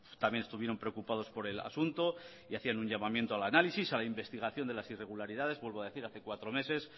también estuvieron preocupados por el asunto y hacían un llamamiento al análisis a la investigación de las irregularidades vuelvo a decir hace cuatro meses